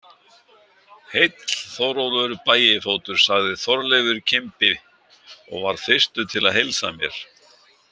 Heill, Þórólfur bægifótur, sagði Þorleifur kimbi og varð fyrstur til að heilsa mér.